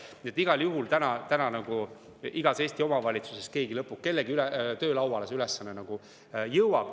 Nii et igal juhul igas Eesti omavalitsuses kellegi töölauale see ülesanne jõuab.